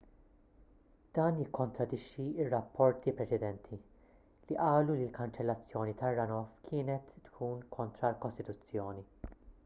dan jikkontradixxi r-rapporti preċedenti li qalu li l-kanċellazzjoni tar-runoff kienet tkun kontra l-kostituzzjoni